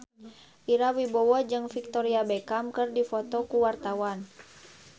Ira Wibowo jeung Victoria Beckham keur dipoto ku wartawan